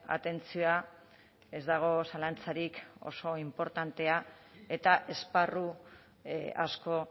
atentzioa ez dago zalantzarik oso inportantea eta esparru asko